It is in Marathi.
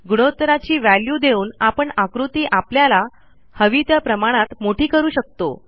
गुणोत्तराची व्हॅल्यू देऊन आपण आकृती आपल्याला हवी त्या प्रमाणात मोठी करू शकतो